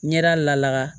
Ɲɛda laka